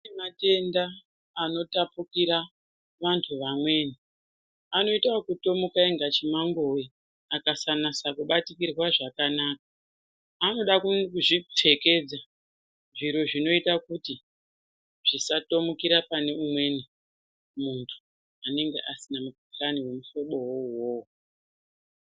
Kune matenda anotapukira vantu vamweni anoita okutomukira inga chimangowe akasanasa kubatikirwa zvakanaka anoda kuzvipfekedza zviro zvinoita kuti zvisatomukira pane umweni muntu unenga asina mukhuhlani wemuhlobowo uwowo.